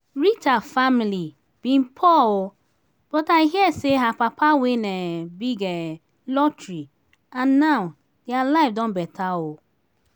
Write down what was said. rita family bin poor oo but i hear say her papa win um big um lottery and now dia life don better um